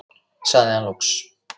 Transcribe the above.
sagði hann loks.